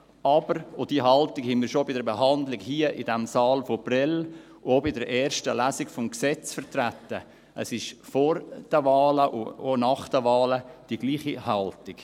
Aber – und diese Haltung haben wir schon bei der Behandlung vom April und auch bei der ersten Lesung des Gesetzes hier in diesem Saal vertreten – es ist vor den Wahlen und auch nach den Wahlen dieselbe Haltung.